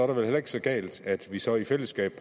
vel heller ikke så galt at vi så i fællesskab